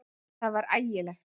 Það var ægilegt!